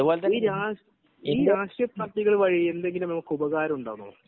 ഈ രാഷ്ട്രീയ പാർട്ടികളെകൊണ്ട് എന്തെങ്കിലും ഉപകാരമുണ്ടോ